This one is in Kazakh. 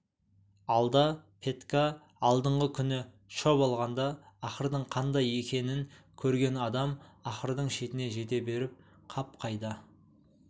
алда петька алдыңғы күні шөп алғанда ақырдың қандай екенін көрген адам ақырдың шетіне жете беріп қап қайда